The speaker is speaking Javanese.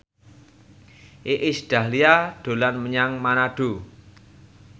Iis Dahlia dolan menyang Manado